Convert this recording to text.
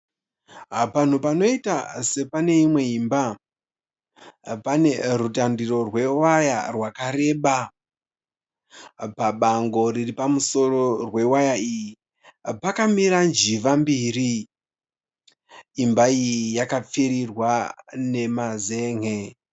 Panhu panoita sepane imwe imba, pane rutandiro rwewaya rwakareba. Pabango riri pamusoro rwewaya iyi pakamira njiva mbiri. Imba iyi yakapfirirwa nemazen'e.